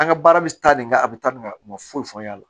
An ka baara bɛ taa nin kan a bɛ taa nin ka u ma foyi fɔ an ɲ'a la